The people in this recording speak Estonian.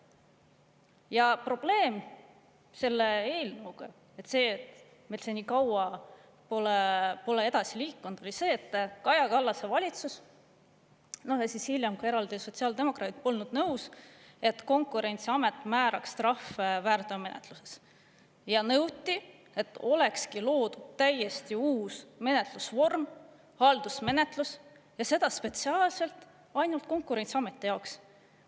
Ja probleem selle eelnõuga – see, et see nii kaua pole edasi liikunud –, oli see, et Kaja Kallase valitsus ja hiljem ka eraldi sotsiaaldemokraadid polnud nõus, et Konkurentsiamet määraks trahve väärteomenetluses, ja nõuti, et olekski loodud täiesti uus menetlusvorm, haldusmenetlus, ja seda spetsiaalselt ainult Konkurentsiameti jaoks.